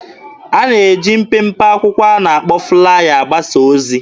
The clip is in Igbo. A na-eji mpempe akwụkwọ a na-akpọ 'flaya' agbasa ozi.